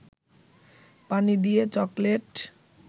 পানি দিয়ে চকলেট